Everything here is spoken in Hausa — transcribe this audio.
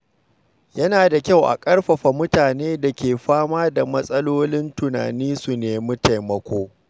Yana da kyau a ƙarfafa mutanen da ke fama da matsalolin tunani su nemi taimako.